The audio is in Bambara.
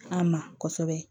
An ma kɔsɛbɛ